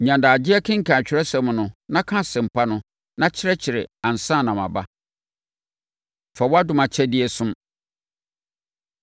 Nya adagyeɛ kenkan Atwerɛsɛm no na ka Asɛmpa no na kyerɛkyerɛ ansa na maba. Fa Wo Dom Akyɛdeɛ Som